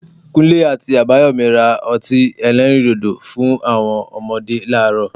Kunle àti Abayomi ra ọtí elẹ́rìndòdò fún àwọn ọmọdé láàárọ̀